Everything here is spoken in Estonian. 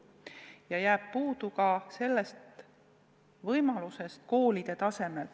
Ja jääb puudu ka võimalustest koolide tasemel.